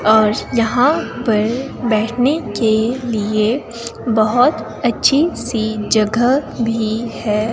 और यहां पर बैठने के लिए बहुत अच्छी सी जगह भी है।